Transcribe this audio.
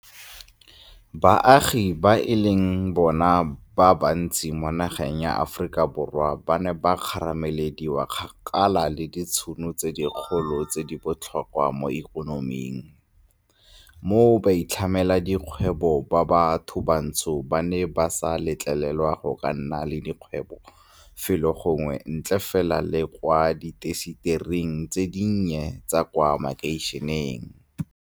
Baagi ba e leng bona ba bantsi mo nageng ya Aforika Borwa ba ne ba kgaramelediwa kgakala le ditšhono tse dikgolo tse di botlhokwa mo ikonoming, mo baitlhamedikgwebo ba bathobantsho ba neng ba sa letlelelwa go ka nna le dikgwebo felo gongwe ntle fela le kwa diintasetering tse dinnye tsa kwa makeišeneng.